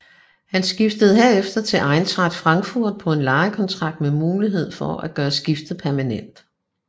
Han skiftede herefter til Eintracht Frankfurt på en lejeaftale med mulighed for at gøre skiftet permanent